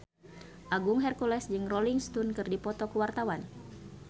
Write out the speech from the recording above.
Agung Hercules jeung Rolling Stone keur dipoto ku wartawan